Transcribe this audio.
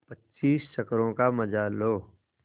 पच्चीस चक्करों का मजा लो